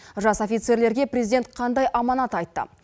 жас офицерлерге президент қандай аманат айтты